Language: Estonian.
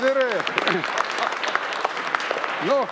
Tere-tere!